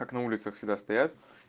как на улицах всегда стоять